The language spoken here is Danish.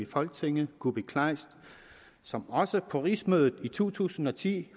folketinget kuupik kleist som også for rigsmødet i to tusind og ti